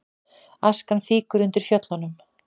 Askan fýkur undir Fjöllunum